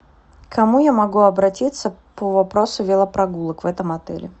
к кому я могу обратиться по вопросу велопрогулок в этом отеле